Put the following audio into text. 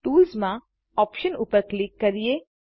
ToolsમાંOptions ઉપર ક્લિક કરીએ